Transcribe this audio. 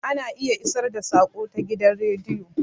Ana iya isar da saƙo ta gidan radio